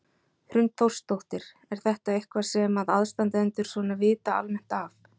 Hrund Þórsdóttir: Er þetta eitthvað sem að aðstandendur svona vita almennt af?